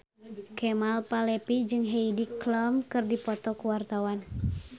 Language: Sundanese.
Kemal Palevi jeung Heidi Klum keur dipoto ku wartawan